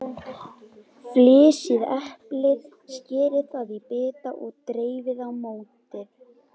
Flysjið eplið, skerið það í bita og dreifið í mótið.